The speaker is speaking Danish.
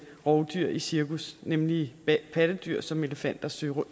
rovdyr i cirkus nemlig pattedyr som elefanter søløver